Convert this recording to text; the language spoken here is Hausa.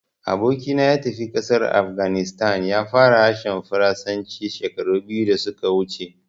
Aboki na ya tafi ƙasar Afghanistan, ya fara harshen Faransanci shekaru biyu da su ka wuce